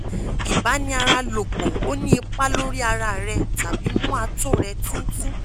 ibani ara lopo o ni ipa lori ara re tabi mu ato re tintin